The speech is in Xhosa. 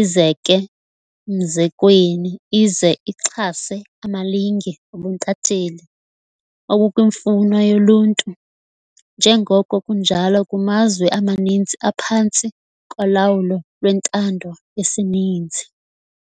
izeke mzekweni ize ixhase amalinge obuntatheli obukwimfuno yoluntu, njengoko kunjalo kumazwe amaninzi aphantsi kolawulo lwentando yesininzi.